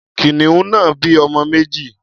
Kìnìún náà bí ọmọ méjì.